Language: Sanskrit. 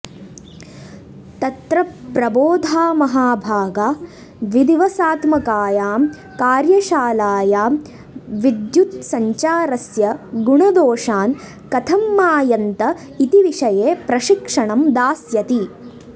तत्र प्रबोधामहाभागा द्विदिवसात्मकायां कार्यशालायां विद्युद्सञ्चारस्य गुणदोषान् कथं मायन्त इति विषये प्रशिक्षणं दास्यति